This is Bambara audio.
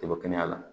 Kaba kɛnɛya la